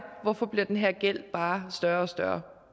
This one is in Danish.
hvorfor den her gæld bare større og større